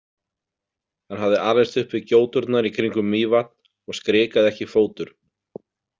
Hann hafði alist upp við gjóturnar í kringum Mývatn og skrikaði ekki fótur.